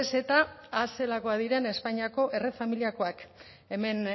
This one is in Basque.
ez eta ah zelakoak diren espainiako familiakoak hemen